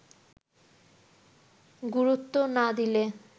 গুরুত্ব না দিলে